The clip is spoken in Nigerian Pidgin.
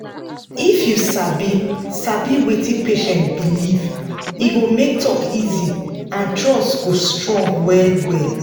if you sabi sabi wetin patient believe e go make talk easy and trust go strong well well.